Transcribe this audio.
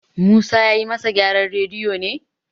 Musa ya yi masa gyaran radiyo ne